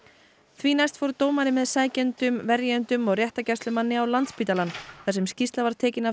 því næst fór dómari með verjendum og réttargæslumanni á Landspítalann þar sem skýrsla var tekin af